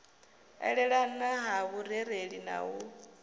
elelana ha vhurereli na u